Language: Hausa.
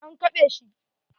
An keɓe shi.